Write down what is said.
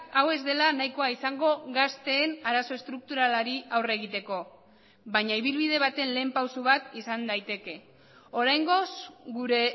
hau ez dela nahikoa izango gazteen arazo estrukturalari aurre egiteko baina ibilbide baten lehen pauso bat izan daiteke oraingoz gure